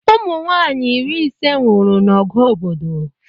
Ụmụnwaanyị iri ise nwụrụ n'ọgụ obodo